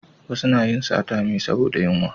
Wasu na yin sata me saboda yunwa